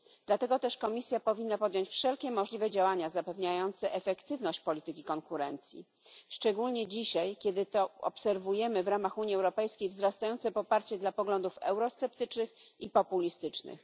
Dlatego też Komisja powinna podjąć wszelkie możliwe działania zapewniające efektywność polityki konkurencji, szczególnie dzisiaj, kiedy to obserwujemy w ramach Unii Europejskiej wzrastające poparcie dla poglądów eurosceptycznych i populistycznych.